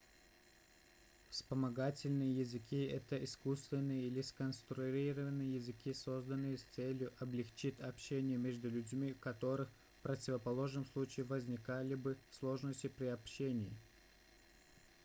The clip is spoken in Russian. вспомогательные языки это искусственные или сконструированные языки созданные с целью облегчить общение между людьми у которых в противоположном случае возникали бы сложности при общении